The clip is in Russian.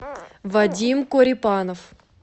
вадим корепанов